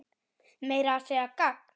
Meira að segja gagn.